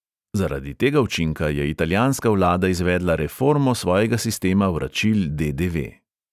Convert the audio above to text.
Zaradi tega učinka je italijanska vlada izvedla reformo svojega sistema vračil de|de|ve.